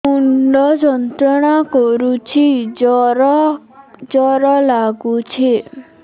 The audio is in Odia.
ମୁଣ୍ଡ ଯନ୍ତ୍ରଣା କରୁଛି ଜର ଜର ଲାଗୁଛି